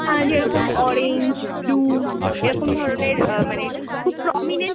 অ্যাঁ যেরকম orange, blue এরকম ধরনের অ্যাঁ মানে খুব prominent